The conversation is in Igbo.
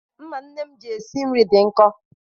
Mma nne m ji esi nri dị nkọ.